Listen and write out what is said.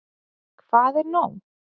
Hvað er nóg?